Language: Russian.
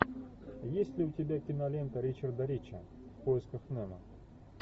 есть ли у тебя кинолента ричарда рича в поисках немо